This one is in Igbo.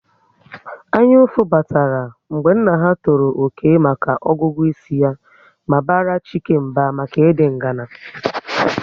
Anyaụfụ batara mgbe nna ha tọrọ Okey maka ọgụgụ isi ya ma bara Chike mba maka ịdị ngana